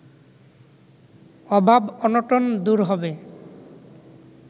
অভাব-অনটন দূর হবে